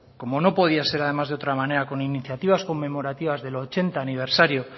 como no podía ser además de otra manera con iniciativas conmemorativas del ochenta aniversario